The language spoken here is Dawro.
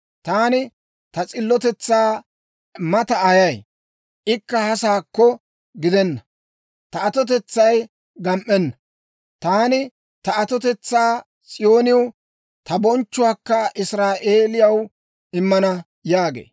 taani ta s'illotetsaa mataa ayay; ikka hasakko gidenna. Ta atotetsay gam"enna; taani ta atotetsaa S'iyooniw, ta bonchchuwaakka Israa'eeliyaw immana» yaagee.